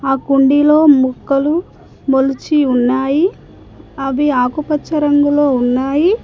ఆ కుండీలో మొక్కలు మొలచి ఉన్నాయి అవి ఆకుపచ్చ రంగులో ఉన్నాయి.